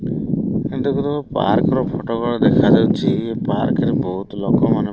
park ର photo ଭଳିଆ ଦେଖାଯାଉଛି‌ ଏ ପାର୍କ ରେ ବୋହୁତ୍ ଲୋକମାନେ --